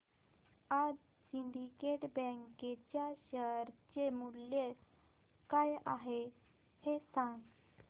आज Syndicate bank च्या share चे मूल्य काय आहे हे सांगा